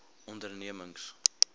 ondernemings